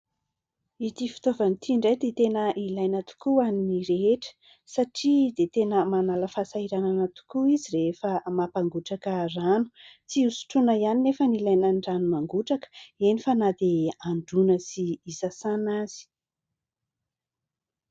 Ity fitaovana ty ndray, dia tena ilaina tokoa hoan'ny rehetra ; satria, dia tena manala fahasahiranana tokoa izy rehefa mampangotraka rano. Tsy hosotrona hiany nefa n'ilaina ny rano mangotraka ; eny fa na dia, handroana sy hisasana aza.